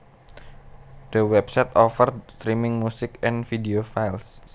The website offered streaming music and video files